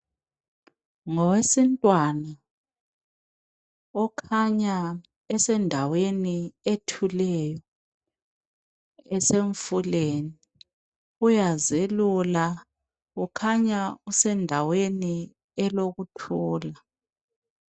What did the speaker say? Ngowesintwana okhanya esendaweni ethuleyo ,esemfuleni, uyazelula ukhanya usendaweni elokuthula